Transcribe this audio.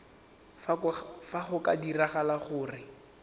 fa go ka diragala gore